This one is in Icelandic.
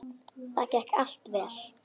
Það gekk allt vel.